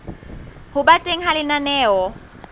ho ba teng ha lenaneo